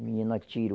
O menino atirou.